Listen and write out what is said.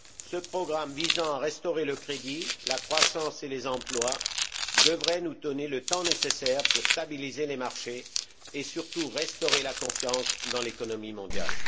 Ce programme, visant à restaurer le crédit, la croissance et les emplois, devrait nous donner le temps nécessaire pour stabiliser les marchés et, surtout, restaurer la confiance dans l'économie mondiale.